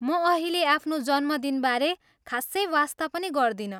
म अहिले आफ्नो जन्मदिनबारे खासै वास्ता पनि गर्दिनँ।